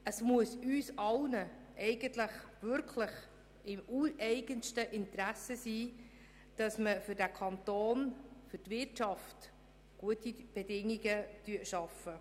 Es muss in unserem ureigensten Interesse liegen, dass wir im Kanton für die Wirtschaft gute Bedingungen schaffen.